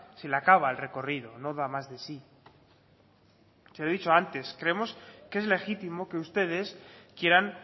se le acaba el recorrido no da más de sí se lo he dicho antes creemos que es legítimo que ustedes quieran